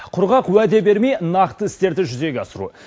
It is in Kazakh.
құрғақ уәде бермей нақты істерді жүзеге асыру